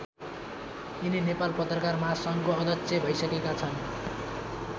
यिनी नेपाल पत्रकार महासङ्घको अध्यक्ष भैसकेका छन्।